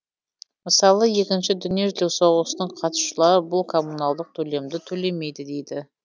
мысалы екінші дүниежүзілік соғысының қатысушылары бұл коммуналдық төлемді төлемейді дейді